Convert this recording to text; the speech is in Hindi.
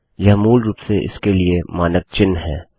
यह मूल रूप से इसके लिए मानक चिन्ह है